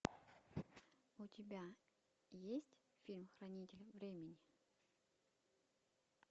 у тебя есть фильм хранитель времени